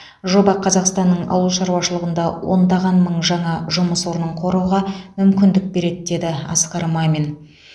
жоба қазақстанның ауыл шаруашылығында ондаған мың жаңа жұмыс орнын құруға мүмкіндік береді деді асқар мамин